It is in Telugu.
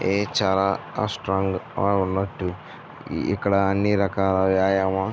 ఏ చాలా స్ట్రాంగ్ గా ఉన్నటు ఇక్కడ అన్ని రకాల వ్యాయామా --